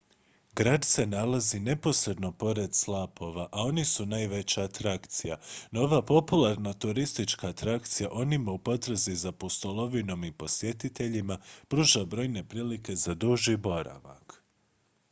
grad se nalazi neposredno pored slapova a oni su najveća atrakcija no ova popularna turistička atrakcija onima u potrazi za pustolovinom i posjetiteljima pruža brojne prilike za duži boravak